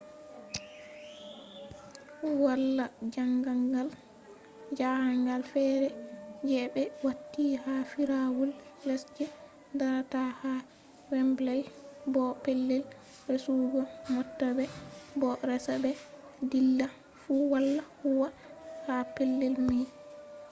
wala jahangal fere je ɓe wati ha firawol les je dara ta ha wembley bo pellel resugo mota be bo resa-be-dilla fu wala huwwa ha pellel mai